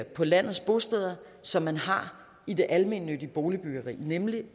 på landets bosteder som man har i det almennyttige boligbyggeri nemlig